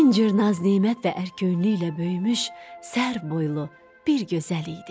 Min cür naz-nemət və ərköyünlüklə böyümüş, sərv boylu bir gözəl idi.